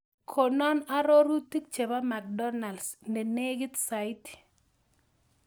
Konan arorutik chebo mcdonalds ne negit saiti